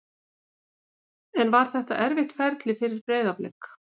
En var þetta erfitt ferli fyrir Breiðablik?